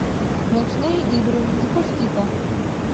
ночные игры запусти ка